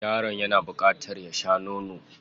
Yaron yana bukatar ya sha nono.